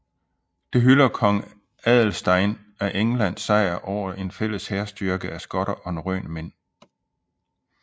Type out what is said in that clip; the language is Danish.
Det hylder kong Adalstein af Englands sejr over en fælles hærstyrke af skotter og norrøne mænd